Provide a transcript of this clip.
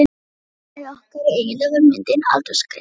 Að frumkvæði okkar og eigenda var myndin aldursgreind.